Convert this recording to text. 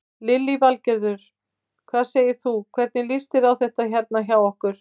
Lillý Valgerður: Hvað segir þú, hvernig líst þér á þetta hérna hjá okkur?